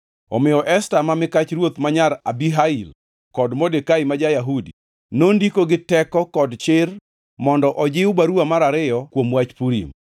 Omiyo Esta ma mikach ruoth ma nyar Abihail kod Modekai ma ja-Yahudi, nondiko gi teko kod chir mondo ojiw baruwa mar ariyo kuom wach Purim.